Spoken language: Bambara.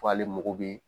Fo ale mago bɛ